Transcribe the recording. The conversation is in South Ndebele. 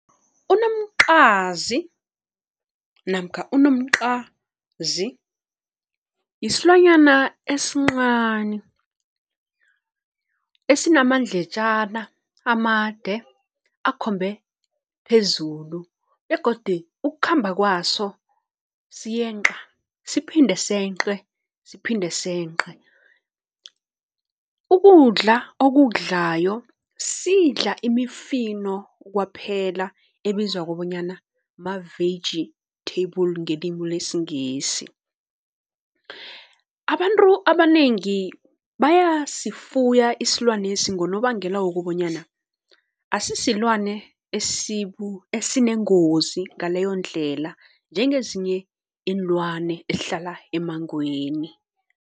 Unomqazi namkha unomqazi yisilwanyana esinqani esinamandletjana amade akhombe phezulu begodi ukukhamba kwaso siyenqa siphinde senqe siphinde senqe. Ukudla okukudlayo sidla imifino kwaphela ebizwa kobonyana ma-vegetable ngelimu lesiNgisi. Abantu abanengi bayasifuya isilwanesi ngonobangela wokobonyana asisilwane esinengozi ngaleyo ndlela njengezinye iinlwane ezihlala emangweni.